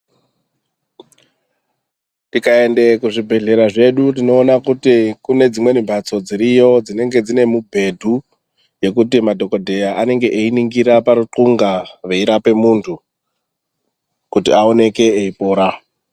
Tikaenda kuzvibhehlera zvedu tinoona kuti kune dzimweni mbatso dziriyo dzinenge dzine mubhedha yekuti madhokodheya anenge eyiningira parukunga veirape muntu kuti aoneke eipora.